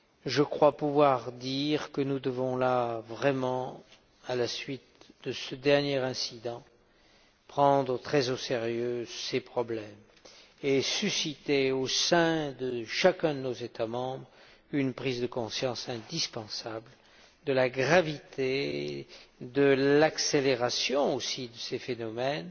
Je crois pouvoir dire que nous devons là, à la suite de ce dernier incident, prendre très au sérieux ces problèmes et susciter, au sein de chacun de nos États membres, une prise de conscience indispensable de la gravité, de l'accélération aussi, de ces phénomènes,